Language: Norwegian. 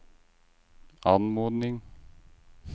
anmodning